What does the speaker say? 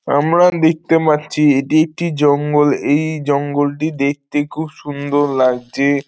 আমরা দেখতে মারছি এটি একটি জঙ্গল এই জঙ্গল টি দেখতে খুব সুন্দর লাগজে-এ।